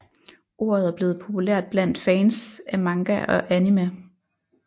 Ordet er blevet populært blandt fans af manga og anime